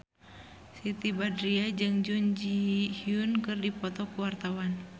Siti Badriah jeung Jun Ji Hyun keur dipoto ku wartawan